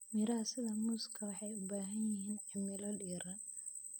Miraha sida muuska waxay u baahan yihiin cimilo diiran.